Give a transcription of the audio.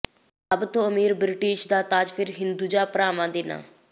ਸਭ ਤੋਂ ਅਮੀਰ ਬ੍ਰਿਟੀਸ਼ ਦਾ ਤਾਜ ਫਿਰ ਹਿੰਦੁਜਾ ਭਰਾਵਾਂ ਦੇ ਨਾਂ